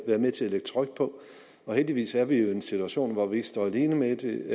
være med til at lægge tryk på heldigvis er vi jo i en situation hvor vi ikke står alene med det